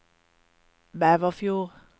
Bæverfjord